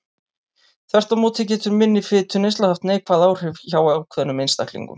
Þvert má móti getur minni fituneysla haft neikvæð áhrif hjá ákveðnum einstaklingum.